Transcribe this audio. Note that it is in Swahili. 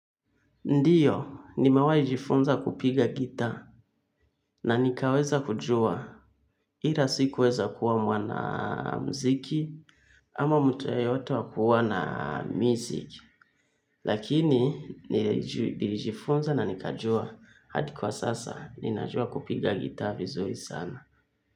Ndiyo, nimewahi jifunza kupiga gitaa na nikaweza kujua. Ila sikuweza kuwa mwanamziki ama mtu yeyoto kuwa na music. Lakini, nilijifunza na nikajua hadi kwa sasa, ninajua kupiga gitaa vizuri sana.